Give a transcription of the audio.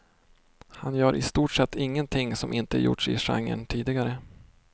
Han gör i stort sett ingenting som inte gjorts i genren tidigare.